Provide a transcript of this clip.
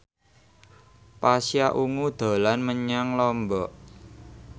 Pasha Ungu dolan menyang Lombok